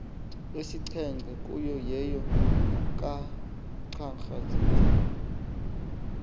esixhenxe kuyo yeyokugxagxazeli